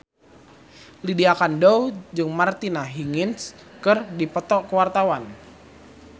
Lydia Kandou jeung Martina Hingis keur dipoto ku wartawan